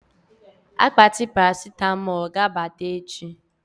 Akpati Parasịtamọ ga-abata echi